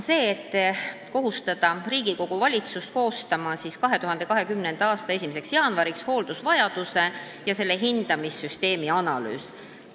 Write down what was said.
Nii kohustataksegi eelnõus Riigikogu ja valitsust koostama 2020. aasta 1. jaanuariks hooldusvajaduse ja selle hindamise süsteemi analüüs.